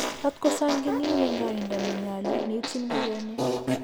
rat kosonginin en koindo ne nyolu neityin ngokenik.